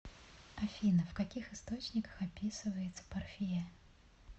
афина в каких источниках описывается парфия